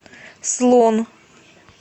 слон